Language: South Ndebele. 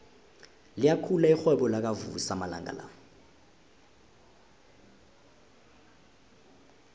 liyakhula irhwebo lakavusi amalanga la